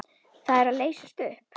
Það er að leysast upp.